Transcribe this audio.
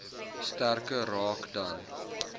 sterker raak dan